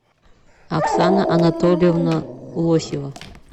оксана анатольевна лосева